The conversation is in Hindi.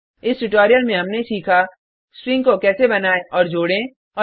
इस ट्यूटोरिल में हमने सीखा स्ट्रिंग को कैसे बनाएँ और जोडें